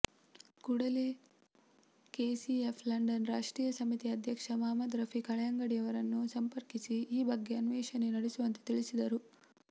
ಕೂಡಲೇ KCF London ರಾಷ್ಟ್ರೀಯ ಸಮಿತಿ ಅಧ್ಯಕ್ಷ ಮುಹಮ್ಮದ್ ರಫೀಕ್ ಹಳೆಯಂಗಡಿರವರನ್ನು ಸಂಪರ್ಕಿಸಿ ಈ ಬಗ್ಗೆ ಅನ್ವೇಷಣೆ ನಡೆಸುವಂತೆ ತಿಳಿಸಿದರು